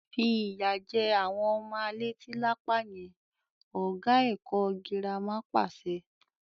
Fi ìyà jẹ àwọn ọmọ a leti lápá yẹn! Ọ̀gá ilé ẹ̀kọ́ girama pàṣẹ.